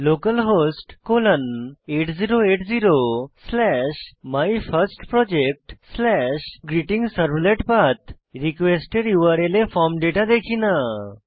localhost colon 8080 slash my first project slash greeting servlet path request এর URL এ form data দেখি না